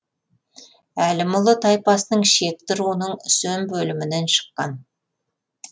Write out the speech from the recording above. әлімұлы тайпасының шекті руының үсен бөлімінен шыққан